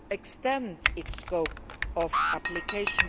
extend its scope of application.